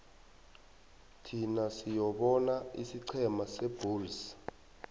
thin siyobona isiqhema sebulls